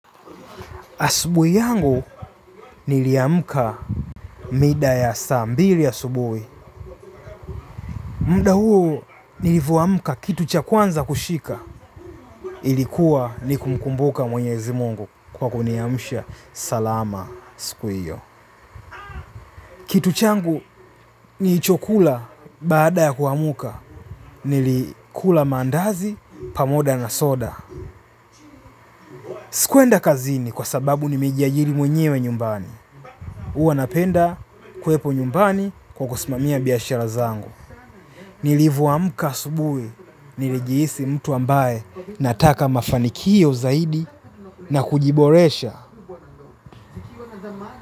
Asubuhi yangu niliamka mida ya saa mbili asubuhi. Muda huo nilivoamka kitu cha kwanza kushika ilikuwa ni kumkumbuka mwenyezi mungu kwa kuniamsha salama siku hiyo. Kitu changu nilichokula baada ya kuamka nilikula mandazi pamoja na soda. Sikuenda kazini kwa sababu nimejiajiri mwenyewe nyumbani. Huwa napenda kuwepo nyumbani kwa kusimamia biashara zangu. Nilivoamka asubuhi, nilijihisi mtu ambaye nataka mafanikio zaidi na kujiboresha.